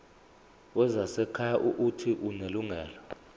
wezasekhaya uuthi unelungelo